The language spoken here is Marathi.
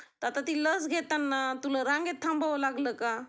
आता ती लस घेताना तुला रांगेत थांबावं लागलं का,